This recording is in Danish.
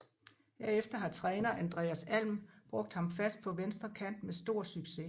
Herefter har træner Andreas Alm brugt ham fast på venstre kant med stor succes